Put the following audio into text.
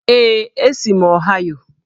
Ee, esi m Ọhaịo